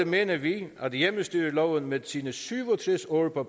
mener vi at hjemmestyreloven med sine syv og tres år på